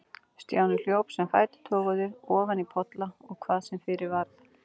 Stjáni hljóp sem fætur toguðu, ofan í polla og hvað sem fyrir varð.